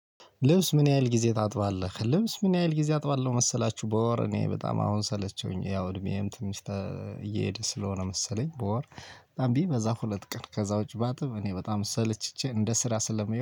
ልብስ ምን ያህል ጊዜ ታጥባለህ? ልብስ ምን ያህል ጊዜ አጥባለሁ መሰላችሁ? በወር እኔ በጣም አሁን ሰለቸሁኝ ያው እድሜዬም ትንሽ ተ እየሄደ ስለሆነ መሰለኝ በወር። በጣም ቢበዛ ሁለት ቀን ከዛ ውጪ ባጥም እኔ በጣም ሰልችቼ እንደ ስራ ስለምየው